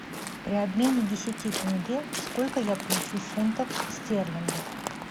при обмене десяти тенге сколько я получу фунтов стерлингов